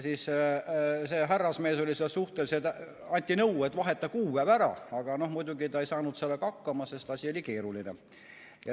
Siis anti nõu, et vaheta kuupäev ära, aga muidugi härrasmees ei saanud sellega hakkama, sest asi oli keeruline.